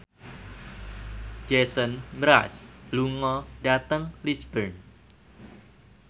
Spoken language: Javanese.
Jason Mraz lunga dhateng Lisburn